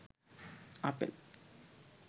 apple